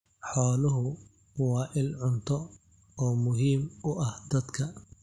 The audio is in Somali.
Xooluhu waa il cunto oo muhiim u ah dadka.